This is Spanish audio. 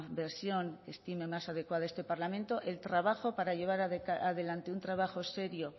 versión que estime más adecuada este parlamento el trabajo para llevar adelante un trabajo serio